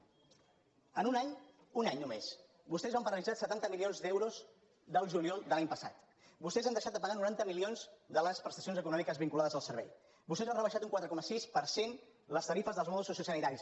en un any un any només vostès van paralitzar setanta milions d’euros del juliol de l’any passat vostès han deixat de pagar noranta milions de les prestacions econòmiques vinculades a servei vostès han rebaixat un quatre coma sis per cent les tarifes dels mòduls sociosanitaris